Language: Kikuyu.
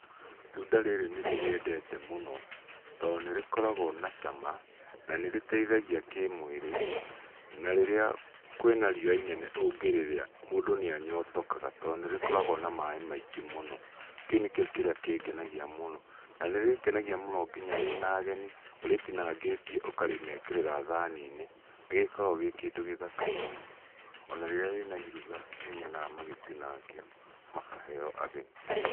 Itunda rĩrĩ nĩ rĩrĩendete mũno. To nĩ rĩkoragwo na cama, na nĩ rĩteithagia kĩmwĩrĩ, na rĩrĩa kwĩna riũa inene ũngĩrĩrĩa, mũndũ nĩ anyotokaga to nĩ rĩkoragwo na maĩ maingĩ mũno. Kĩu nĩkĩo kĩrĩa kĩngenagia mũno. Na nĩ rĩrĩngenagia mũno nginya wĩna ageni ũrĩtinangĩtie ũkamekĩrĩra thani-inĩ, nĩ gĩkoragwo gĩ kĩndũ gĩthaka mũno. Ona rĩrĩa wĩna iruga nĩ nyonaga magĩtinangio makaheo ageni.